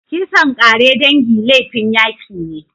Kisan ƙare dangi laifin yaki ne.